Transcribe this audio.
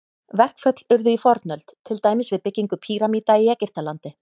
Verkföll urðu í fornöld, til dæmis við byggingu pýramída í Egyptalandi.